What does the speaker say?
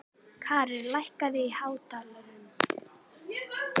Karin, hækkaðu í hátalaranum.